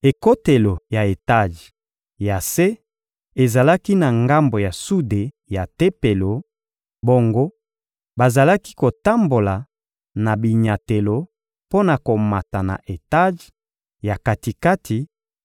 Ekotelo ya etaje ya se ezalaki na ngambo ya sude ya Tempelo; bongo, bazalaki kotambola na binyatelo mpo na komata na etaje ya kati-kati